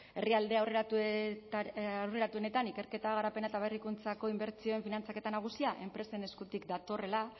herrialde aurreratuenetan ikerketa garapena eta berrikuntzako inbertsioen finantzaketa nagusia enpresen eskutik datorrela